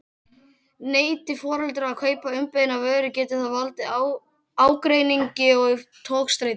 Neiti foreldrar að kaupa umbeðna vöru getur það valdið ágreiningi og togstreitu.